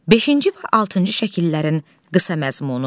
Beşinci və altıncı şəkillərin qısa məzmunu.